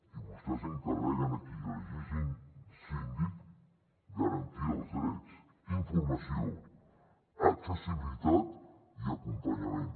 i vostès s’encarreguen aquí elegint síndic de garantir els drets informació accessibilitat i acompanyament